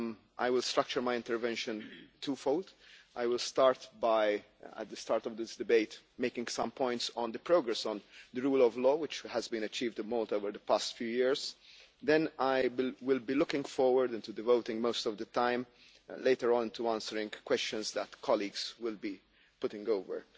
I will structure my intervention two fold I will start by, at the start of this debate, making some points on the progress on the rule of law which has been achieved in Malta over the past few years, then I will be looking forward into devoting most of the time later on into answering questions that colleagues will be putting over.